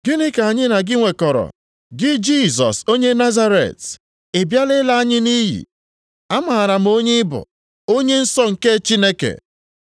sị, “Gịnị ka anyị na gị nwekọrọ, gị Jisọs onye Nazaret? Ị bịala ịla anyị nʼiyi? Amaara m onye ị bụ, Onye Nsọ nke Chineke.”